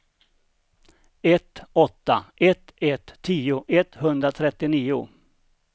ett åtta ett ett tio etthundratrettionio